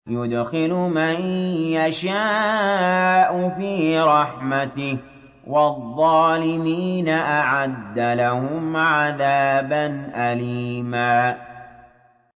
يُدْخِلُ مَن يَشَاءُ فِي رَحْمَتِهِ ۚ وَالظَّالِمِينَ أَعَدَّ لَهُمْ عَذَابًا أَلِيمًا